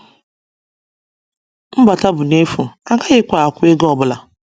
Mbata bụ n’efu, a gaghịkwa ákwụ̀ ego ọ bụla.”